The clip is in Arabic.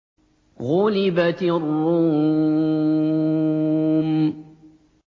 غُلِبَتِ الرُّومُ